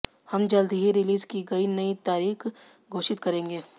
हम जल्द ही रिलीज की नई तारीख घोषित करेंगे